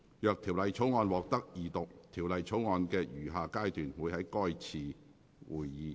若條例草案獲得二讀，條例草案的餘下階段會在該次會議進行。